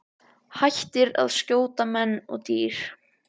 Hættir að skjóta á menn og dýr.